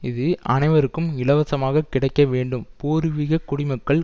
இது அனைவருக்கும் இலவசமாக கிடைக்க வேண்டும் பூர்விகக் குடிமக்கள்